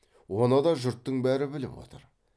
оны да жұрттың бәрі біліп отыр